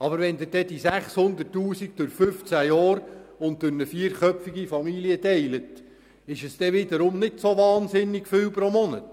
Aber wenn Sie die 600 000 Franken durch 15 Jahre und eine vierköpfige Familie teilen, ist es wiederum nicht so wahnsinnig viel Geld pro Monat.